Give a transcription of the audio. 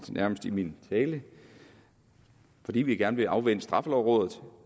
af min tale at fordi vi gerne vil afvente straffelovrådet